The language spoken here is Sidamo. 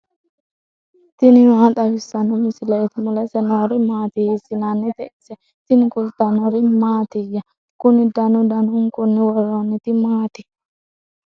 tini maa xawissanno misileeti ? mulese noori maati ? hiissinannite ise ? tini kultannori mattiya? Kunni danu danunkunni woroonnitti maatti?